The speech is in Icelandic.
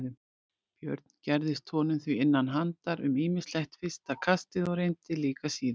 Björn gerðist honum því innan handar um ýmislegt fyrsta kastið og reyndar líka síðar.